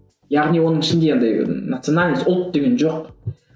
яғни оның ішінде андай национальность ұлт деген жоқ